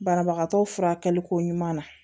Banabagatɔ furakɛlikoɲuman na